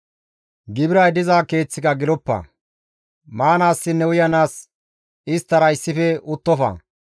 «Gibiray diza keeththika geloppa; maanaassinne uyanaas isttara issife uttofa.